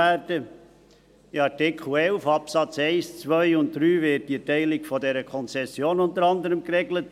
In Artikel 11 Absätze 1, 2 und 3 wird unter anderem die Teilung der Konzession geregelt.